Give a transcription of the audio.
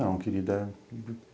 Não, querida.